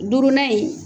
Duurunan in